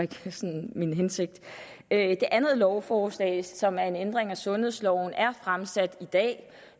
min hensigt det andet lovforslag som er en ændring af sundhedsloven er fremsat i dag